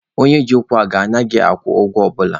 Onye ji ụkwụ aga anaghịkwa akwụ ụgwọ ọbụla.